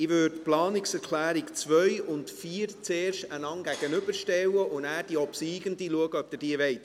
Ich würde die Planungserklärungen 2 und 4 zuerst einander gegenüberstellen, und nachher schauen, ob sie die obsiegende überweisen möchten.